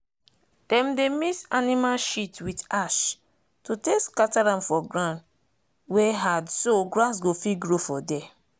dem dey mix animal shit with ash to take scatter am for ground wey hardso grass go fit grow for there.